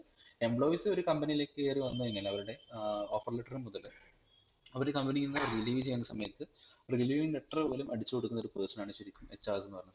employees ഒരു company ഇല്ലേക് കേറിവന്നുകഴിനാൽ അവരുടെ ഏർ offer letter മുതൽ അവര് ഇ company ഇന്ന് Releave ചെയ്യുന്ന സമയത് Releaving letter പോലും അടിച്ചു കൊടുക്കുന്ന ഒരു person ആണ് ശരിക്കും HR എന്നുപറയുന്നത്